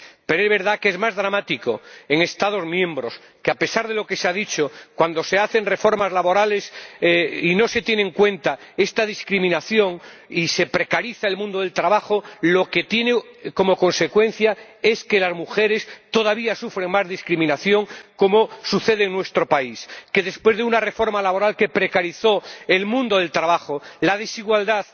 Pero es verdad que resulta más dramático cuando en Estados miembros, a pesar de lo que se ha dicho, se hacen reformas laborales y no se tiene en cuenta esta discriminación y se precariza el mundo del trabajo, pues la consecuencia es que las mujeres todavía sufren más discriminación, como sucede en nuestro país que después de una reforma laboral que precarizó el mundo del trabajo, la desigualdad